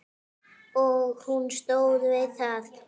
Og hún stóð við það.